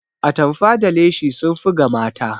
Atamfa da leshi sun fi ga mata